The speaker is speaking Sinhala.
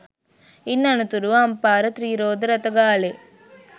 ඉන් අනතුරුව අම්පාර ත්‍රී රෝද රථ ගාලේ